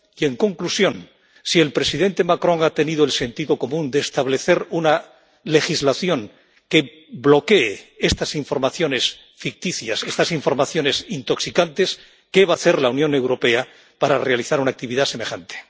Y, en conclusión si el presidente Macron ha tenido el sentido común de establecer una legislación que bloquee estas informaciones ficticias, estas informaciones intoxicantes, ¿qué va a hacer la Unión Europea para realizar una actividad semejante?